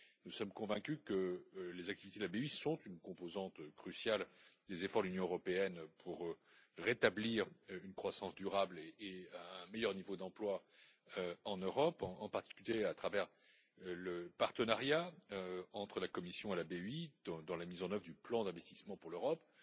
Nous sommes convaincus que les activités de la BEI sont une composante cruciale des efforts de l'Union européenne pour rétablir une croissance durable et un meilleur niveau d'emploi en Europe, en particulier à travers le partenariat entre la Commission et la BEI dans la mise en oeuvre du plan d'investissement pour l'Europe.